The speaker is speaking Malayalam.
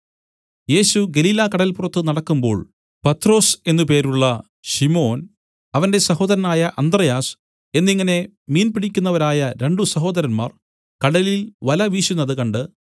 യേശു ഗലീലക്കടല്പുറത്ത് നടക്കുമ്പോൾ പത്രൊസ് എന്നു പേരുള്ള ശിമോൻ അവന്റെ സഹോദരനായ അന്ത്രെയാസ് എന്നിങ്ങനെ മീൻപിടിക്കുന്നവരായ രണ്ടു സഹോദരന്മാർ കടലിൽ വല വീശുന്നത് കണ്ട്